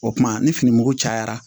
O kuma ni fini mugu cayara